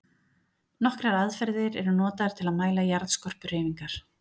Nokkrar aðferðir eru notaðar til að mæla jarðskorpuhreyfingar.